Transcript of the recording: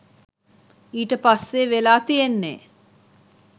ඊට පස්සේ වෙලා තියෙන්නේ